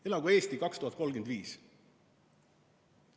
"Elagu "Eesti 2035"".